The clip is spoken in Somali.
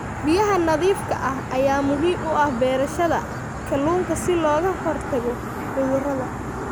Biyaha nadiifka ah ayaa muhiim u ah beerashada kalluunka si looga hortago cudurrada.